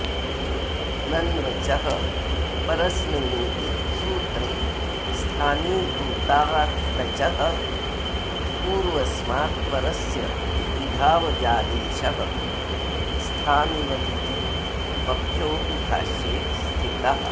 नन्वचः परस्मिन्निति सूत्रे स्थानीभूतादचः पूर्वस्मात्परस्य विधावजादेशः स्थानिवदिति पक्षोऽपि भाष्ये स्थितः